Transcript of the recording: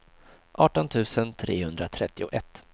arton tusen trehundratrettioett